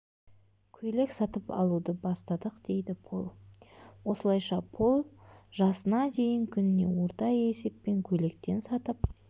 көйлек сатып алуды бастадық дейді пол осылайша пол жасына дейін күніне орта есеппен көйлектен сатып